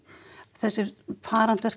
þessi